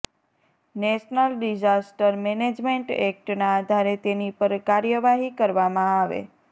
national disaster management એક્ટના આધારે તેની પર કાર્યવાહી કરવામાં આવે